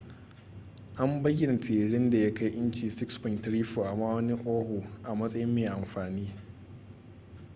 an bayyana tiririn da ya kai inci 6.34 a ma'aunin oahu a matsayin mai amfani